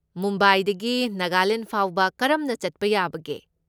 ꯃꯨꯝꯕꯥꯏꯗꯒꯤ ꯅꯥꯒꯥꯂꯦꯟ ꯐꯥꯎꯕ ꯀꯔꯝꯅ ꯆꯠꯄ ꯌꯥꯕꯒꯦ?